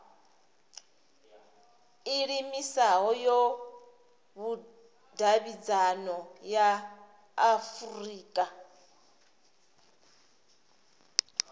iimisaho ya vhudavhidzano ya afurika